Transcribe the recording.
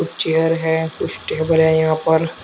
Chair है कुछ table है यहां पर।